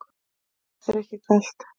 Er þér ekki kalt?